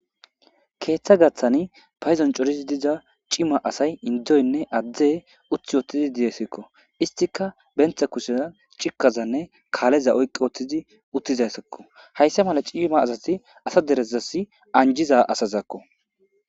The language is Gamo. Keeththa gathan payddon coridi dizza cimma assay indoynne adde utti wothidi dizzesikko. Isstika benta kusheza cikkazanne kaleza oyqqi wottidi uttidessikko hassa mala cimma assathi assa dere anjjiza assazakko.